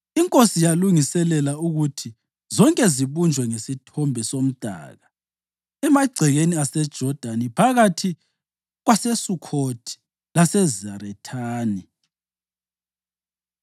Inkosi yalungiselela ukuthi zonke zibunjwe ngesithombe somdaka emagcekeni aseJodani phakathi kwaseSukhothi laseZarethani.